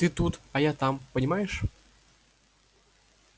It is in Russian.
ты тут а я там понимаешь